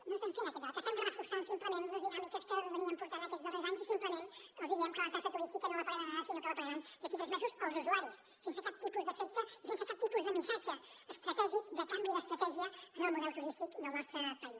no estem fent aquest debat estem reforçant simplement les dinàmiques que portàvem aquests darrers anys i simplement els diem que la taxa turística no la pagaran ara sinó que la pagaran d’aquí a tres mesos els usuaris sense cap tipus d’efecte i sense cap tipus de missatge estratègic de canvi d’estratègia en el model turístic del nostre país